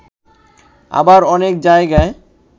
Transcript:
আবার অনেক জায়গায়